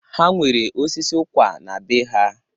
Ha nwere osisi ụkwa na bee ha.